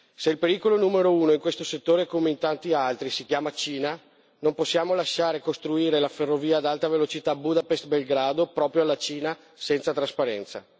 Se il pericolo numero uno, in questo settore come in tanti altri, si chiama Cina, non possiamo lasciare costruire la ferrovia ad alta velocità Budapest Belgrado proprio alla Cina, senza trasparenza.